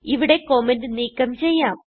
ഇവിടെ കമന്റ് നീക്കം ചെയ്യാം